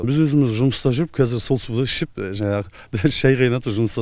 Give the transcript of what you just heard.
біз өзіміз жұмыста жүріп қазір сол суды ішіп жанағы дәл шай қайнатып жұмыста